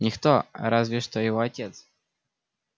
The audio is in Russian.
никто разве что его отец